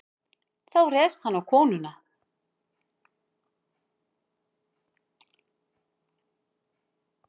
Þá réðst hann á konuna.